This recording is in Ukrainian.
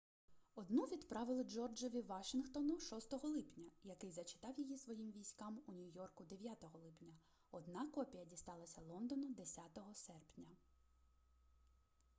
одну відправили джорджеві вашінгтону 6 липня який зачитав її своїм військам у нью-йорку 9 липня одна копія дісталася лондону 10 серпня